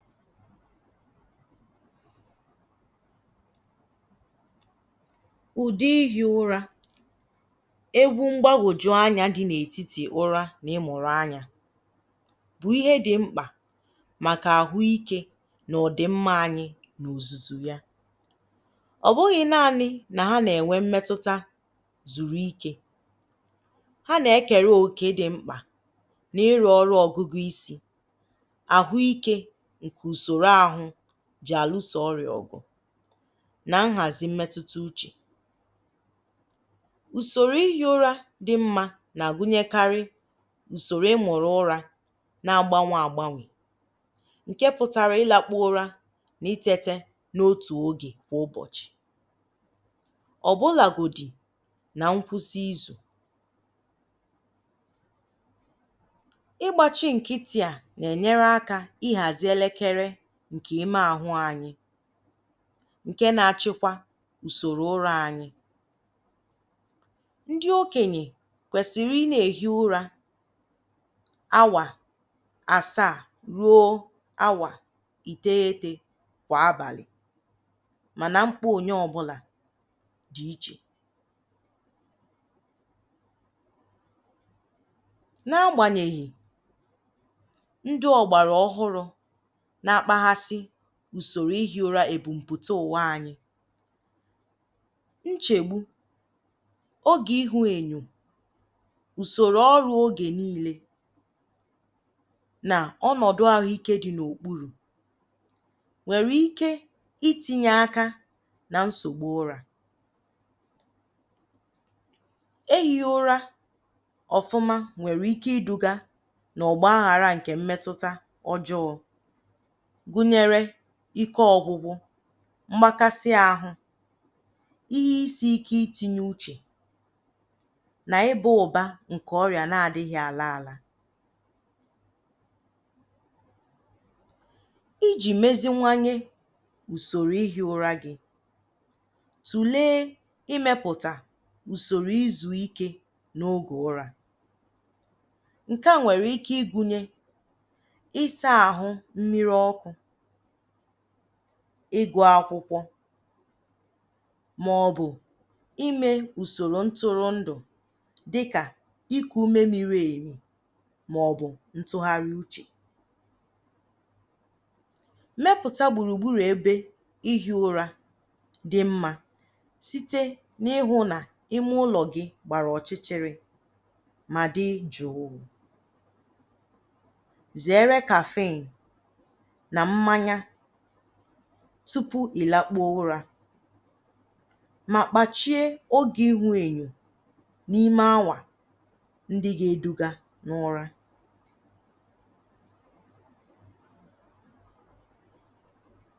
Ụ̀dị́ ihi ụ́rà. Egwu ḿgbágwòjú anya dị n'ètítì ụra na ị́mụ̀rụ́ anya bụ ihe dị ḿkpà màkà àhụ́ike na ọdịmma anyị n'òzùzù ya. Ọ bụghị naanị na ha na-enwe mmetụta zùrú ike, ha nà-ékèré òkè dị ḿkpà na ịrụ ọrụ ọgụgụ isi, àhụ́ike nke usoro àhụ́ ji àlụ́sò ọ́rị̀à ọ̀gụ̀ na nhazi mmetụta uche. Ùsòrò ihi ụ́rà dị̀ mma na-agụnyekari ùsòrò ị́mụ̀rụ̀ ụra na-ágbánwè ágbánwè ǹkè pụtara ịlakpu ụra na itete n'ótù ógè kwà ụ́bọ̀chị̀, ọ̀bụ́làgòdì na nkwụsị ízù. Ịgbachi ńkị́tị̀ a, na-enyere aka ịhazi elekere ǹkè ime àhụ́ anyị ǹkè na-achịkwa ùsòrò ụra anyị. Ndị okenye kwèsị̀rị̀ ị na-ehi ụra áwà asaa ruo áwà ìtéghété kwa ábàlị̀ mànà ḿkpà ònyé ọbụla dị iche. N'agbanyeghị ndị ọ̀gbàrà ọ́hụ́rụ́ na-akpaghasi ùsòrò ihi ụra èbùm̀pụ̀tá ụ̀wà anyị, ńchègbú, ógè ịhụ enyo, ùsòrò ọrụ ógè niile na ọnọdụ àhụ́ike dị n'òkpúrù nwere ike itinye aka na nsogbu ụra. Ehighị ụra ọ̀fụ́má nwere ike iduga n'ọgbaaghara ǹkè mmetụta ọjọọ gụnyere ike ọgwụgwụ, mgbakasị àhụ́, ihe isi ike itinye uche na ịba ụ̀bá nke ọrịa na-adịghị ala ala. Íjì meziwanye ùsòrò ihi ụra gị, tulee imepụta ùsòrò ízù ike n'oge ụra. Nke a nwere ike ịgụnye ịsa àhụ́ mmiri ọkụ, ịgụ akwụkwọ ma ọ bụ ime ùsòrò ńtụ́rụ́ńdụ̀ dị́kà íkū ume miri èmì ma ọ bụ ntụgharị úchè. Mépụ̀tá gbùrù gbúrù ebe ihi ụra dị mma site n'ịhụ na ime ụlọ gị gbara ọ̀chị́chị́rị́ ma dị jụ̀ụ̀, zeere caffeine na mmanya tupu ịlakpuo ụra ma kpachie oge ịhụ ènyò n'ime áwà ndị ga-eduga n'ụra.